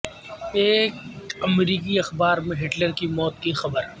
ایک امریکی اخبار میں ہٹلر کی موت کی خبر